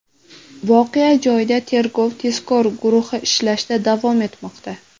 Voqea joyida tergov-tezkor guruhi ishlashda davom etmoqda.